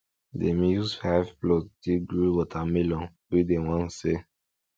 dem use five plot take grow watermelon wey dem wan sell